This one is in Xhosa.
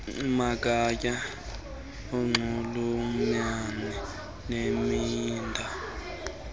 magatya anxulumene nemida